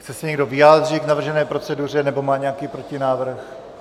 Chce se někdo vyjádřit k navržené proceduře nebo má nějaký protinávrh?